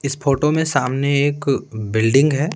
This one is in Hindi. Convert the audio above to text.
इस फोटो में सामने एक बिल्डिंग है।